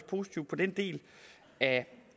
positivt på den del af